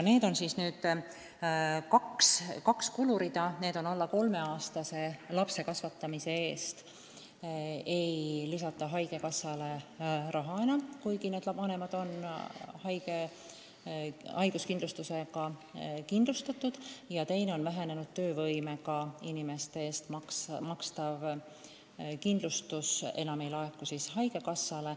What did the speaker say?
Tegu on kahe kulureaga: alla 3-aastast last kasvatavate vanemate ravikindlustuse raha haigekassale enam ei eraldata, kuigi need vanemad on haiguskindlustusega kindlustatud, ja teiseks, vähenenud töövõimega inimeste eest makstav kindlustusmakse ei laeku enam haigekassale.